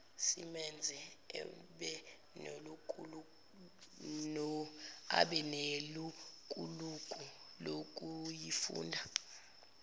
simenze abenelukuluku lokuyifunda